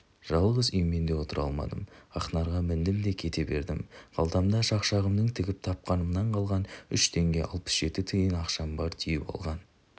жалғыз үй мен де отыра алмадым ақнарға міндім де кете бердім қалтамда шақшағымның тігіп тапқанынан қалған үш теңге алпыс жеті тиын ақшам бар түйіп алған